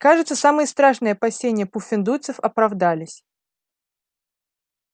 кажется самые страшные опасения пуффендуйцев оправдались